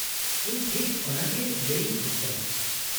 -ᱤᱧ ᱴᱷᱤᱠ ᱚᱱᱟᱜᱮ ᱞᱟᱹᱭ ᱤᱧ ᱠᱷᱚᱪ ᱠᱟᱱᱟ ᱾